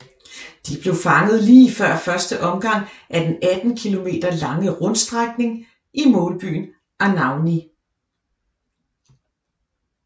De blev fanget lige før første omgang af den 18 kilometer lange rundstrækning i målbyen Anagni